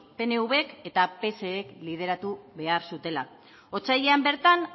pnvk eta psek lideratu behar zutela otsailean bertan